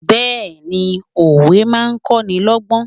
Bẹẹni òwe máa ń kọ́ni lọ́gbọ́n.